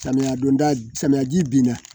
Samiya donda samiyaji bin na